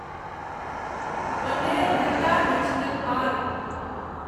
Bannerghatta national park